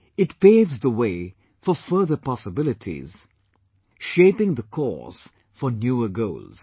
It paves the way for further possibilities, shaping the course for newer goals